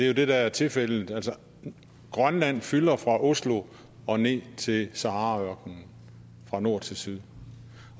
jo det der er tilfældet altså grønland fylder fra oslo og ned til sahara ørkenen fra nord til syd